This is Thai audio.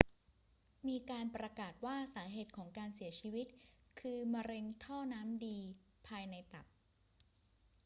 มีการประกาศว่าสาเหตุของการเสียชีวิตคือมะเร็งท่อน้ำดีภายในตับ